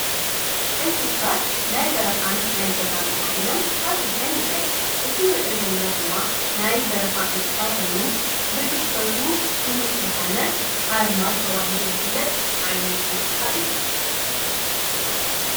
እንስሳት ናይ በረኻን ናይ ገዛን ተብሂሎም ኣብ ክልተ ይምቀሉ፡፡ እዚ ንርእዮ ዘለና ድማ ናይ በረኻ እንስሳ ኾይኑ ብግዝፈቱ ፍሉጥ ዝኾነ ሓር ማዝ ተብሂሉ ዝፍለጥ ዓይነት እንስሳ እዩ፡፡